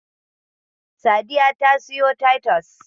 Sadiya ta siyo Taitus